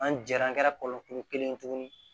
An jɛra an ga kɔlɔn kelen tuguni